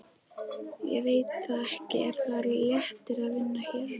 Ég veit það ekki Er það léttir að vinna hér?